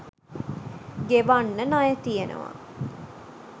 ගෙවන්න ණය තියනවා.